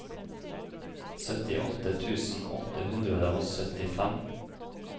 syttiåtte tusen åtte hundre og syttifem